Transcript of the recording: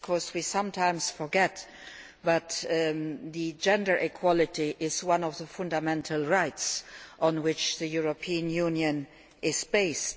We sometimes forget that gender equality is one of the fundamental rights on which the European Union is based.